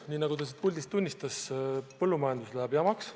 Nii nagu ta siit puldist tunnistas, läheb põllumajanduses jamaks.